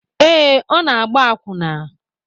Ee, ọ na-agba akwụna